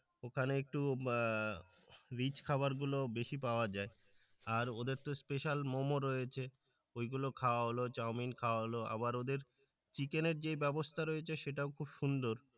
ওখানে একটু আহ রিচ খাবার গুলো বেশি পাওয়া যায় আর ওদের তো স্পেশাল মমো রয়েছে, ওইগুলো খাওয়া হলো চাওমিন খাওয়া হল, আবার ওদের চিকেনের যে ব্যবস্থা রয়েছে সেটাও খুব সুন্দর।